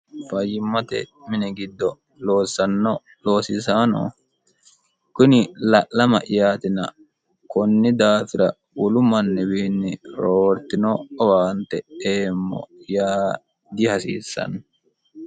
fayyimmote mini giddo loossanno loosisaano kuni la'lama'yaatina konni daafira wolu manniwiinni roortino owaante eemmo yaa dihasiissanno